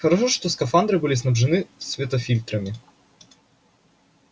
хорошо что скафандры были снабжены светофильтрами